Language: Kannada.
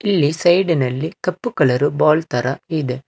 ಇಲ್ಲಿ ಸೈಡ್ ಇನಲ್ಲಿ ಕಪ್ಪು ಕಲರ್ ಬಾಲ್ ತರ ಇದೆ.